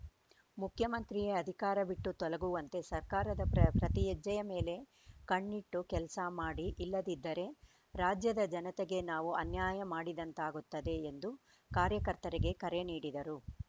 ಮುಖ್ಯಮಂತ್ರಿಯೇ ಅಧಿಕಾರ ಬಿಟ್ಟು ತೊಲಗುವಂತೆ ಸರ್ಕಾರದ ಪ್ರ ಪ್ರತಿಹೆಜ್ಜೆಯ ಮೇಲೆ ಕಣ್ಣಿಟ್ಟು ಕೆಲಸ ಮಾಡಿ ಇಲ್ಲದಿದ್ದರೆ ರಾಜ್ಯದ ಜನತೆಗೆ ನಾವು ಅನ್ಯಾಯ ಮಾಡಿದಂತಾಗುತ್ತದೆ ಎಂದು ಕಾರ್ಯಕರ್ತರಿಗೆ ಕರೆ ನೀಡಿದರು